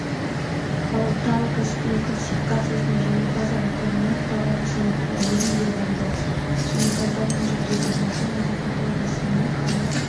ал тау кәсіби классификациясының жеңімпазы атағына таунсенд рори ие болды жеңімпаздар мен жүлдегерлерді марапаттау рәсіміне қала